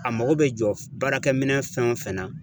A mago bɛ jɔ baarakɛ minɛ fɛn o fɛn na